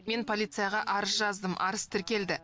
мен полицияға арыз жаздым арыз тіркелді